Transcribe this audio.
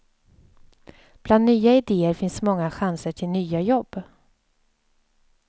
Bland nya idéer finns många chanser till nya jobb.